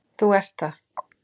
Þú ert það.